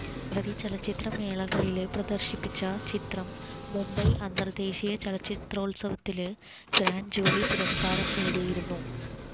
നിരവധി ചലച്ചിത്ര മേളകളില് പ്രദര്ശിപ്പിച്ച ചിത്രം മുബൈ അന്തര്ദേശീയ ചലച്ചിത്രോല്സവത്തില് ഗ്രാന്റ് ജൂറി പുരസ്കാരവും നേടിയിരുന്നു